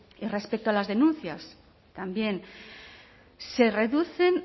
y respecto a las denuncias también se reducen